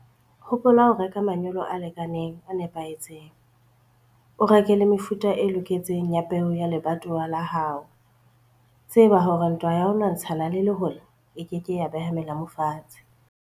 Hopola ho reka manyolo a lekaneng, a nepahetseng. O reke le mefuta e loketseng ya peo ya lebatowa la hao. Tseba hore ntwa ya ho lwantshana le lehola e ke ke ya beha melamu fatshe.